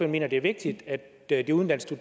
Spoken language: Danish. mener det er vigtigt at de udenlandske